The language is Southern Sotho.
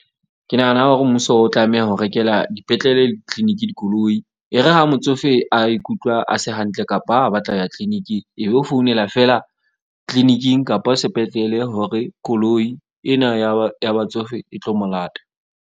Ke nahana hore mmuso o tlameha ho rekela dipetlele le di-clinic-i dikoloi. E re ha motsofe a ikutlwa a se hantle kapa ha batla ho ya clinic-ing, e be o founela feela clinic-ing kapa sepetlele hore koloi ena ya batsofe e tlo mo lata.